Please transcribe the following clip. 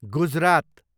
Gujarat